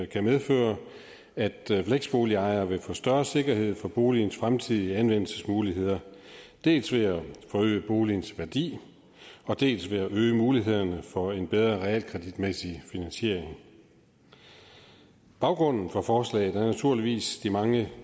kan medføre at fleksboligejerne vil få større sikkerhed for boligens fremtidige anvendelsesmuligheder dels ved at det forøger boligens værdi dels ved at det øger mulighederne for en bedre realkreditmæssig finansiering baggrunden for forslaget er naturligvis de mange